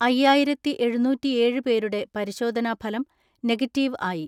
അയ്യായിരത്തിഎഴുന്നൂറ്റിഏഴ്‌ പേരുടെ പരിശോധനാഫലം നെഗറ്റീവ് ആയി.